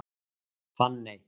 Fanney